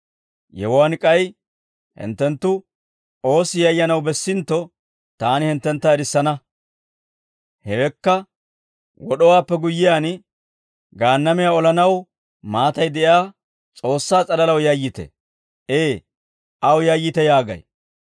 Yewuwaan k'ay hinttenttu oossi yayyanaw bessintto taani hinttentta erissana; hewekka wod'owaappe guyyiyaan gaannamiyan olanaw maatay de'iyaa S'oossaa s'alalaw yayyite; Ee, aw yayyite yaagay.